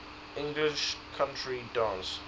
english country dance